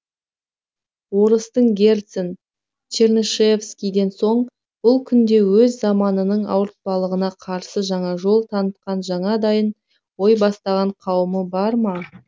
орыстың герцен чернышевскийден соң бұл күнде өз заманының ауыртпалығына қарсы жаңа жол танытқан жаңадан ой бастаған қауымы бар ма